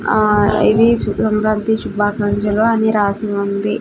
ఆ ఇవి సుగంధ్రాంతి శుభాకాంక్షలు అని రాసి ఉంది.